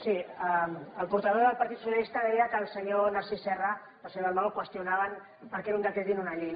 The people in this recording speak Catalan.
sí el portaveu del partit socialista deia que el senyor narcís serra i el senyor dalmau qüestionaven per què era un decret i no una llei